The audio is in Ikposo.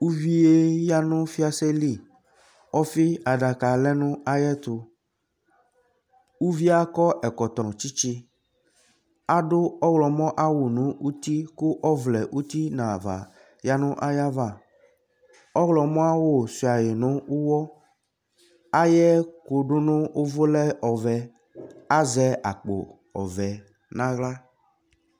uvie yanu fiase li ɔfi adaka lɛnu ayɛtuuvi yɛ akɔ ɛkɔtɔ nu tsitsi Adu ɔɣlɔmɔ ayiʋ awu nu uti ku ɔvlɛ uti nu ava yanu ayiʋ avaƆɣlɔmɔ awu suia yi nu uwɔiyiʋ ɛku du nu uvu lɛ ɔvɛ azɛ akpo ɔvɛ nu aɣla